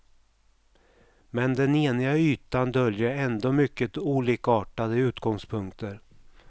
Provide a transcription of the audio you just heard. Men den eniga ytan döljer ändå mycket olikartade utgångspunkter.